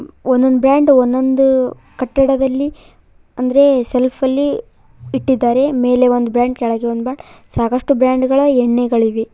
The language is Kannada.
ಒಂದೊಂದ್ ಬ್ರಾಂಡ್ ಒಂದೊಂದು ಕಟ್ಟಡದಲ್ಲಿ ಅಂದ್ರೆ ಶೆಲ್ಫ್ ಅಲ್ಲಿ ಇಟ್ಟಿದ್ದಾರೆ ಮೇಲೆ ಒಂದ್ ಬ್ರಾಂಡ್ ಕೆಳಗೆ ಒಂದ್ ಬ್ರಾಂಡ್ ಸಾಕಷ್ಟು ಬ್ರಾಂಡ್ ಗಳ ಎಣ್ಣೆಗಳಿವೆ.